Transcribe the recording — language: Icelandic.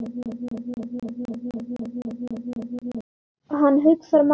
Hann hugsar málið.